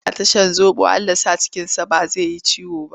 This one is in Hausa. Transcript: Yana ta shan zoɓo Allah ya sa cikinsa ba zai yi ciwo ba.